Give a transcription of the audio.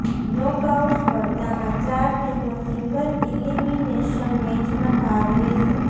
knockout સ્પર્ધામાં ચાર ટીમો સિંગલ ઇલિમિનેશન મેચમાં ભાગ લેશે